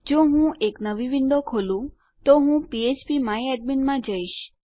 જો હું એક નવી વિન્ડો ખોલું તો હું ફ્ફ્પ માય એડમિન માં જઈશ